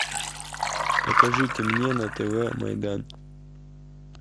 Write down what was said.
покажите мне на тв майдан